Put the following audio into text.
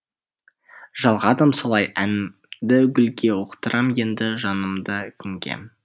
жалғадым солай әнімді гүлге ұқтырам енді жанымды кімге